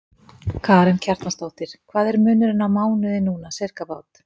Karen Kjartansdóttir: Hvað er munurinn á mánuði núna, sirkabát?